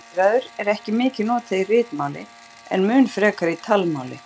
Orðið pirraður er ekki mikið notað í ritmáli en mun frekar í talmáli.